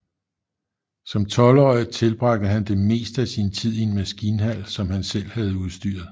Som tolvårig tilbragte han det meste af sin tid i en maskinhal som han selv havde udstyret